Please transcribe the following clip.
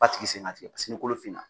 F'a tigi sen ka tigɛ. Paseke kolo finna.